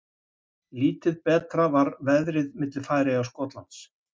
Lítið betra var veðrið á milli Færeyja og Skotlands.